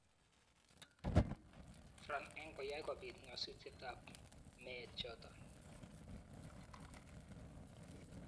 France eng koyai kobiit ng'asutietab meet chotok.